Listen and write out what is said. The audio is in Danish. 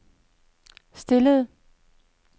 stillede